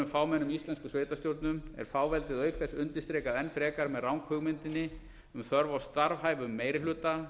fámennum íslenskum sveitarstjórnum er fáveldið auk þess undirstrikað enn frekar með ranghugmyndinni um þörf á starfhæfum meiri hluta